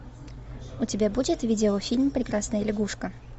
у тебя будет видеофильм прекрасная лягушка